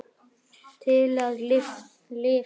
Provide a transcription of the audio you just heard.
Til að lifa.